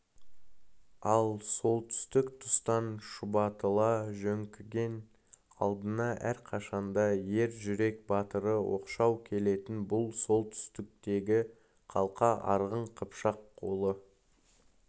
ал солтүстік тұстан шұбатыла жөңкіген алдында әрқашанда ер жүрек батыры оқшау келетін бұл солтүстіктегі қалқа арғын қыпшақ қолы